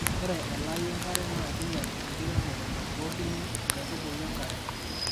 Ore elaii enkare na kinyal enkiremore nabukokini nkaitubulu enkare.